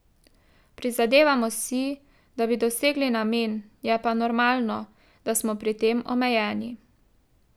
Prizadevamo si, da bi dosegli namen, je pa normalno, da smo pri tem omejeni.